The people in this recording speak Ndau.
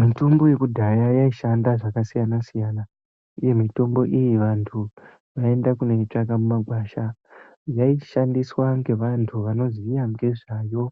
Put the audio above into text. Mitombo yekudhaya yaishanda zvakasiyana siyana uye mitombo iyi vanthu vaienda kunoitsvaga mumagwasha yaishandiswa ngevanthu vanoziya ngezvayo